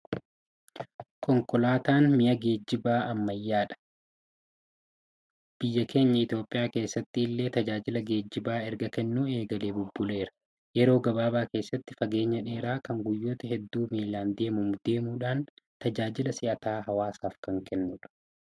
Konkolaataan mi'a geejjibaa ammayyaadha. Biyya keenya Itoophiyaa keessatti illee tajaajila geejjibaa erga kennuu eegalee bubbuleera. Yeroo gabaabaa keessatti fageenya dheeraa kan guyyoota hedduu miilan deemamu deemuudhaan tajaajila si'ataa hawaasaaf kan kennudha.